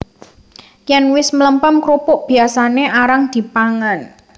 Yèn wis mlempem krupuk biyasané arang dipangan